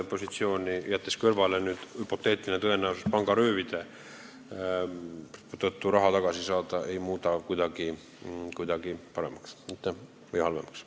Kui jätta kõrvale hüpoteetiline tõenäosus pangaröövlilt raha tagasi saada, siis võib öelda, et eelnõu ei muuda krediidiasutuste positsiooni kuidagi paremaks ega halvemaks.